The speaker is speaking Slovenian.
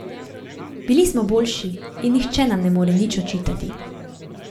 Bili smo boljši in nihče nam ne more nič očitati.